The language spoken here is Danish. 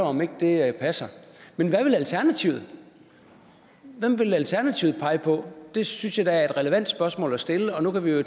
om ikke det passer men hvad vil alternativet hvem vil alternativet pege på det synes jeg da er et relevant spørgsmål at stille og nu kan vi jo